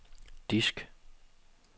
disk